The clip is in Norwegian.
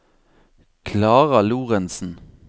Klara Lorentsen